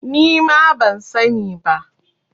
Nima ban sa ni ba